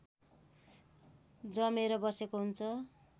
जमेर बसेको हुन्छ